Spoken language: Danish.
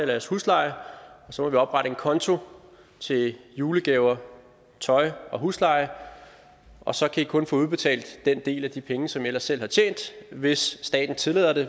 jeres husleje og så må vi oprette en konto til julegaver tøj og husleje og så kan i kun få udbetalt den del af de penge som i ellers selv har tjent hvis staten tillader det